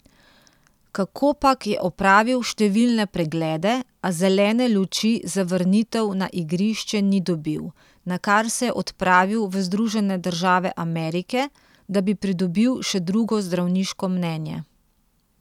Kakopak je opravil številne preglede, a zelene luči za vrnitev na igrišče ni dobil, nakar se je odpravil v Združene države Amerike, da bi pridobil še drugo zdravniško mnenje.